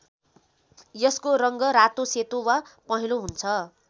यसको रङ्ग रातो सेतो वा पहेंलो हुन्छ।